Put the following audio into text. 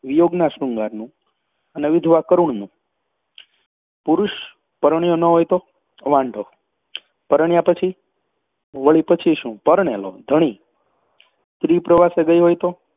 વિયોગના શૃંગારનું, વિધવા કરુણનું પુરુષ પરણ્યો ન હોય તો વાંઢો. પરણ્યા પછી વળી પછી શું પરણેલો, ધણી. સ્ત્રી પ્રવાસે ગઈ હોય તો